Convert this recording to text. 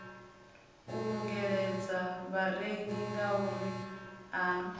u ungeledza vharengi ngauri a